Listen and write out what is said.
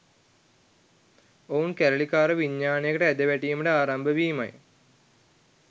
ඔවුන් කැරලිකාර විඤ්ඤාණයකට ඇද වැටීම ආරම්භ වීමයි